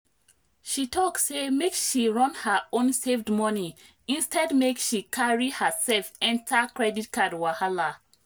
she talk say make she run her own saved money instead make she carry herself enter credit card wahala.